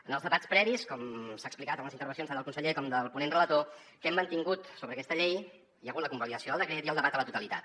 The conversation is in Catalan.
en els debats previs com s’ha explicat en les intervencions tant del conseller com del ponent relator que hem mantingut sobre aquesta llei hi ha hagut la convalidació del decret i el debat a la totalitat